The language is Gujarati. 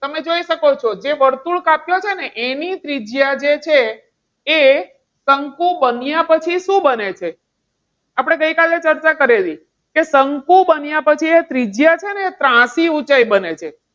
તમે જોઈ શકો છો જે વર્તુળ કાપ્યો છે. ને એની ત્રિજ્યા જે છે. એ શંકુ બન્યા પછી શું બને છે? આપણે ગઈકાલે ચર્ચા કરેલી કે શંકુ બન્યા પછી એ ત્રિજ્યા ત્રાંસી ઊંચાઈ બને છે.